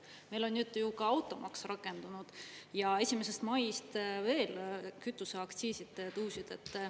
Meil on nüüd ju ka automaks rakendunud ja 1. maist veel kütuseaktsiisid tõusid.